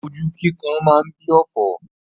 Hastes makes wastes.